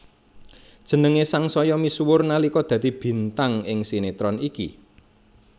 Jenengé sangsaya misuwur nalika dadi bintang ing sinetron iki